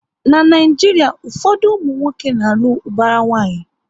Na Naijiria, ụfọdụ ụmụnwoke na alụ ubara nwanyi